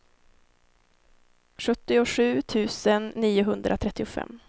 sjuttiosju tusen niohundratrettiofem